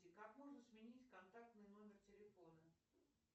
как можно сменить контактный номер телефона